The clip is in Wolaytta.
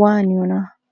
waaniyonaa?